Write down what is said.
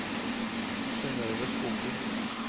Synnøve Skoglund